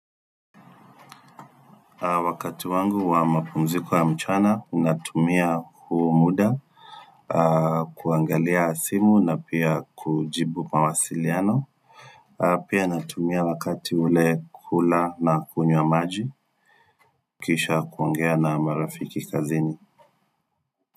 Wakati wangu wa mapumziko ya mchana, natumia huo muda kuangalia simu na pia kujibu mawasiliano pia natumia wakati ule kula na kunywa maji kisha kuongea na marafiki kazini.